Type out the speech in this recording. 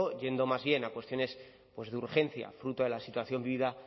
yendo más bien a cuestiones pues de urgencia fruto de la situación vivida